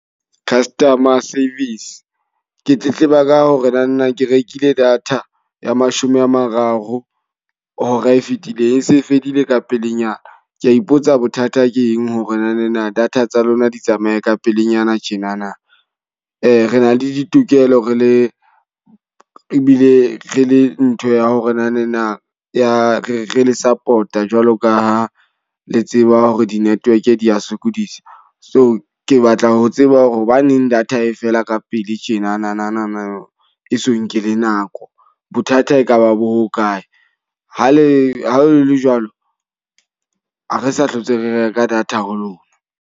Customer service, ke tletleba ka hore na na ke rekile data ya mashome a mararo hora e fetileng. E se e fedile ka pelenyana. Ke a ipotsa bothata ke eng hore nanana data tsa lona di tsamaye ka pelenyana tjenana. re na le ditokelo re le ebile re le ntho ya hore na na ya re le support a jwalo ka ha le tseba hore di-network di ya sokodisa. So ke batla ho tseba hore hobaneng data e fela ka pele tjenanana e so nke le nako. Bothata e kaba bo ho kae? Ha le ha le le jwalo, ha re sa hlotse re reka data ho lona.